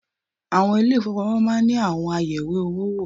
Àwọn ilé ìfowópamọ́ máa ń àwọn ayẹ̀wé owó wò